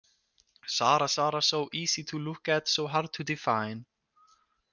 Sara, Sara, So easy to look at, so hard to define.